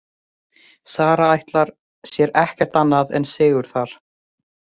Sara ætlar sér ekkert annað en sigur þar.